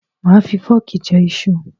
Máà fi fọ́ọ̀kì jẹ iṣu